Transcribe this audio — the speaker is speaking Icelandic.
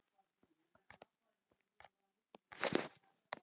En segir síðan